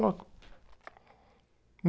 Num tocam.